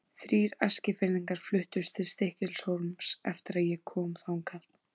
Þrír Eskfirðingar fluttust til Stykkishólms eftir að ég kom þangað.